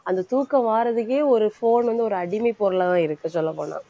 அந்த தூக்கம் வாரதுக்கே ஒரு phone வந்து ஒரு அடிமைப் பொருளாதான் இருக்கு சொல்லப் போனா